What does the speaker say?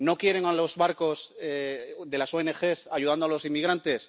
¿No quieren a los barcos de las ONG ayudando a los inmigrantes?